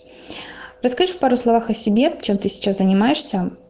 расскажи в пару словах о себе чем ты сейчас занимаешься